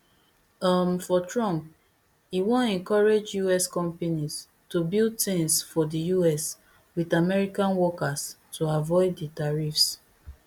um for trump e wan encourage us companies to build tins for di us wit american workers to avoid di tariffs